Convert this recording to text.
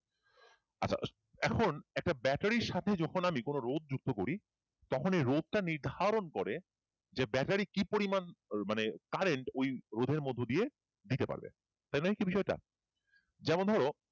এখন একটা ব্যাটারির সাথে যখন আমি কোন রোধ যুক্ত করি তখন এই রোধ টা নির্ধারণ করে যে ব্যাটারি কি পরিমাণ মানে current মানে current ঐ রোধের মধ্যে দিয়ে দিতে পারবে তাই না হচ্ছে বিষয়টা যেমন ধরো